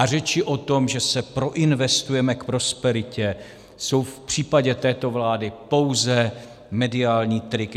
A řeči o tom, že se proinvestujeme k prosperitě, jsou v případě této vlády pouze mediální trik.